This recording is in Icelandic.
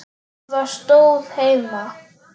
Jú, það stóð heima.